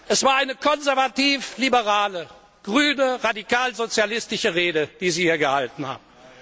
Es war eine konservativ liberale, grüne, radikalsozialistische Rede, die Sie hier gehalten haben.